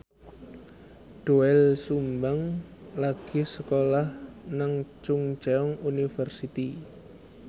Doel Sumbang lagi sekolah nang Chungceong University